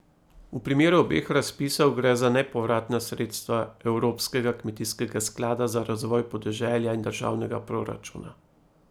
V primeru obeh razpisov gre za nepovratna sredstva Evropskega kmetijskega sklada za razvoj podeželja in državnega proračuna.